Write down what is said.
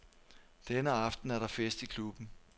Denne aften er der fest i klubben.